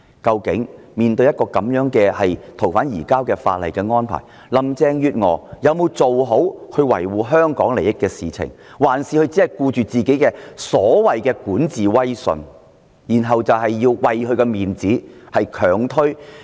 究竟面對這樣的移交逃犯安排，林鄭月娥有否維護香港利益，還是只顧她的管治威信，為了自己的顏面而強推根本無人受惠的法例修訂？